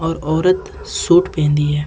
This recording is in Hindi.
और औरत सूट पहनी है।